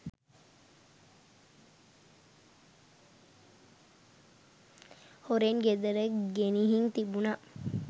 හොරෙන් ගෙදර ගෙනිහිං තිබුණා.